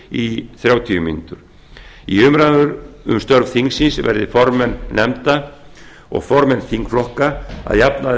í þrjátíu í umræðum um störf þingsins verði formenn nefnda og formenn þingflokka að jafnaði